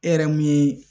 E yɛrɛ mun ye